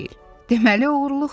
Deməli, oğruluqdur.